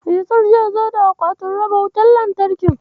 Yasir zai zo da akwatin raba wutar lantarkin.